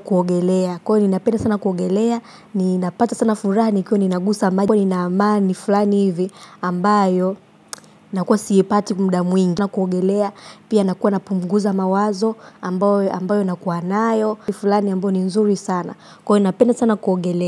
kuogelea. Kwa hiyo ninapenda sana kuogelea, ninapata sana furaha nikiwa ninagusa maji. Huwa ina amani fulani hivi ambayo nakuwa siipati muda mwingi na kuogelea pia nakuwa napunguza mawazo ambayo na nakuwa nayo ni fulani ambayo ni nzuri sana kwa inapena sana kuogelea.